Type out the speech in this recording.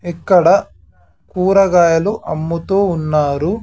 ఇక్కడ కూరగాయలు అమ్ముతూ ఉన్నారు.